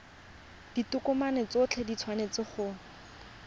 ditokomane tsotlhe di tshwanetse go